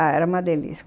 Ah, era uma delícia.